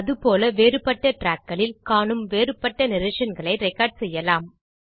அதுபோல் வேறுபட்ட trackகளில் காணும் வேறுபட்ட narrationகளை ரெக்கார்ட் செய்யலாம்